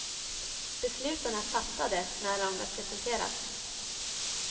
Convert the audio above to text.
Besluten är fattade när de presenteras.